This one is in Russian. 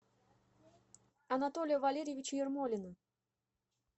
анатолия валерьевича ермолина